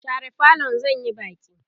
share falon zan Yi Baki!